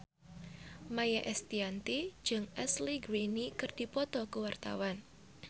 Maia Estianty jeung Ashley Greene keur dipoto ku wartawan